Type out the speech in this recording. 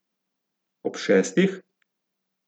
Ob šestih?